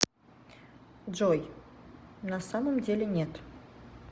джой на самом деле нет